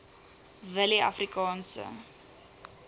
willieafrikaanse